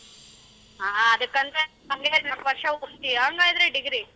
ಹ ಅದಕ್ಕಂತ ಓದತ್ತಿಯಾ ಅಂಗಾದ್ರೆ degree?